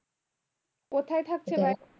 কোথায় থাকছে বাই